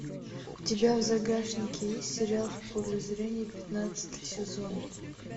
у тебя в загашнике есть сериал в поле зрения пятнадцатый сезон